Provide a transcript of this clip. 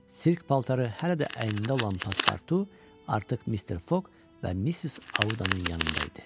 Sirr paltarı hələ də əynində olan Paspartu artıq Mister Fogg və Missis Audanın yanında idi.